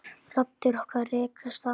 Raddir okkar rekast saman.